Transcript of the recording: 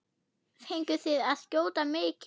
Fenguð þið að skjóta mikið?